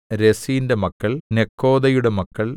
രെസീന്റെ മക്കൾ നെക്കോദയുടെ മക്കൾ